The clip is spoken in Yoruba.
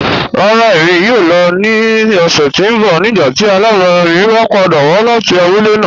Rárá, ẹ̀mi yóò lọ̀ ni ọ̀ṣẹ̀ tí n bọ̀ nígbàtí alábarà mi bá pàdà wà láti àbúlẹ̀ náà.